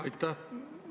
Aitäh!